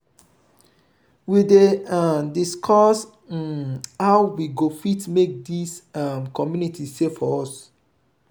we dey um discuss um how we go fit make dis um community safe for us.